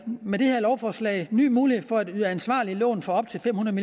med det her lovforslag ny mulighed for at yde ansvarlige lån for op til fem hundrede